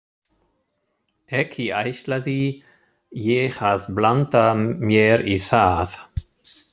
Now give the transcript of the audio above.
Ekki ætlaði ég að blanda mér í það.